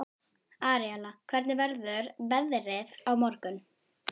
Aríela, hvernig verður veðrið á morgun?